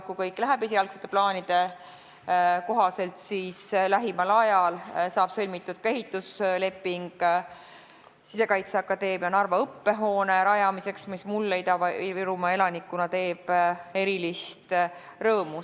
Kui kõik läheb esialgsete plaanide kohaselt, siis lähimal ajal saab sõlmitud ka ehitusleping Sisekaitseakadeemia Narva õppehoone rajamiseks, mis mulle Ida-Virumaa elanikuna teeb erilist rõõmu.